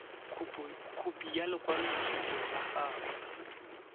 khopi ya lekwaloitshupo la gago